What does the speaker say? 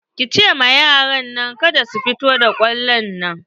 Ki ce ma yaran kada su fito da kwallon nan!